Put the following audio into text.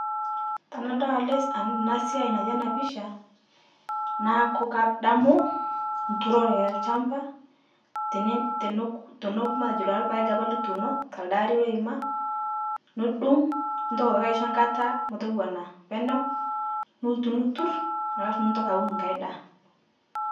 Tanadol al ana siai natii ana pisha, naaku kadamu nturore elchamba, ten teneku teneku matejo lpaeg apa lituuno te alde aari loima, tinidung' nintoki aitoki aisho nkata metowana peeneu nilotu aitoki niturr, alafu nitoki aun nkae daa.